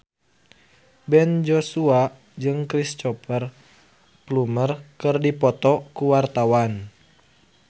Ben Joshua jeung Cristhoper Plumer keur dipoto ku wartawan